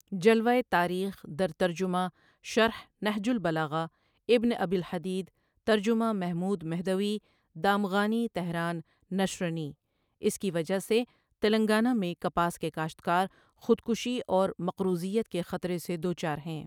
جلوہ تاریخ در ترجمہ شرح نهج البلاغہ ابن ابی الحدید، ترجمہ محمود مهدوی دامغانی، تهران، نشر نی، اس کی وجہ سے تلنگانہ میں کپاس کے کاشتکار 'خودکشی اور مقروضیت' کے خطرے سے دوچار ہیں۔